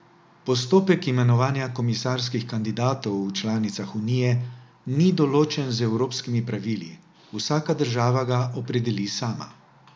Postopek imenovanja komisarskih kandidatov v članicah unije ni določen z evropskimi pravili, vsaka država ga opredeli sama.